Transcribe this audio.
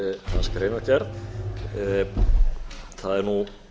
hans greinargerð það er nú